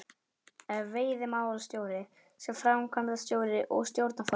Ef veiðimálastjóri sem framkvæmdastjóri og stjórnarformaður